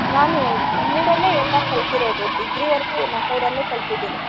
ನಾನು ನಮ್ಮೂರಲ್ಲೇ ಎಲ್ಲಾ ಕಲ್ತಿರೋದ degree ವರ್ಗು ನಮ್ಮೂರಲ್ಲೇ ಕಲ್ತಿದೀನಿ.